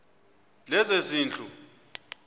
lezezindlu